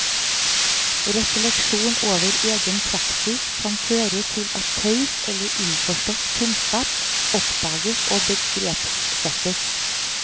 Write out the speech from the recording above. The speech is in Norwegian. Refleksjon over egen praksis kan føre til at taus eller innforstått kunnskap oppdages og begrepssettes.